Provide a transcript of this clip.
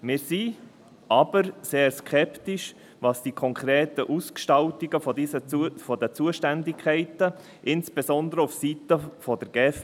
Wir sind aber sehr skeptisch, was die konkreten Ausgestaltungen der Zuständigkeiten betrifft, insbesondere aufseiten der GEF.